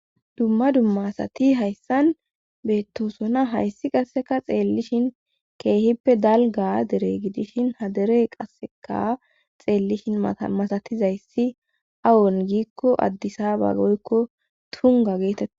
Dumma dummaasati hayssan beettosona hayssi qasseka xeellishin keehippe dalga dere gidishin hadere qasseka xeellishin mamasatizayssi awon giikko addisaba goykko tunga geetetta.